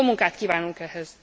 Jó munkát kívánunk ehhez!